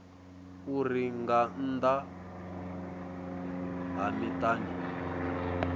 uri nga nnḓa ha miṱani